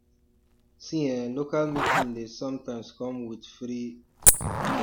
see eh local meeting dey sometimes come with free um test